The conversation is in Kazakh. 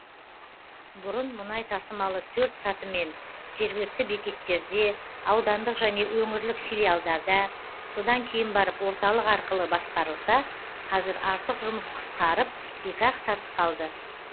бұрын мұнай тасымалы төрт сатымен жергілікті бекеттерде аудандық және өңірлік филиалдарда содан кейін барып орталық арқылы басқарылса қазір артық жұмыс қысқарып екі ақ саты қалды